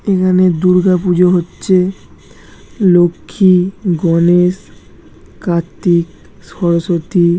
এখানে দূর্গা পুজো হচ্ছে লক্ষি গণেশ কার্তিক সরস্বতী--